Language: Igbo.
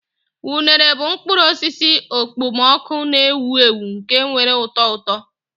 Unere bụ mkpụrụ osisi okpomọkụ na-ewu ewu nke nwere ụtọ ụtọ.